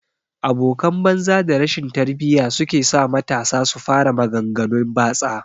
abokan banza da rashin tarbiyya sukesa matasa su fara magan ganun batsa